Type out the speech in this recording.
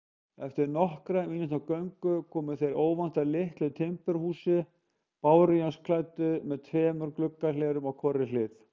Eftir nokkurra mínútna göngu komu þeir óvænt að litlu timburhúsi, bárujárnsklæddu með tveimur gluggahlerum á hvorri hlið.